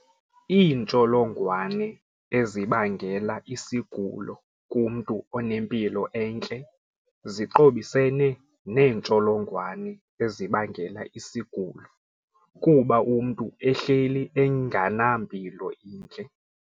Iintsholongwane ezibangela isigulo kumntu onempilo entle ziqobisene neentsholongwane ezibangela isigulo kuba umntu ehleli enganampilo intle.